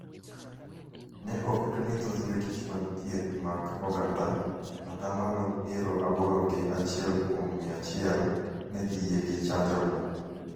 ne oketo ni thoth Jotich mag Thieth mag Oganda (ata malo piero aboro gi achiel kuom mia achiel) ne dhi yie gi chanjono.